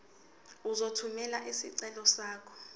uzothumela isicelo sakho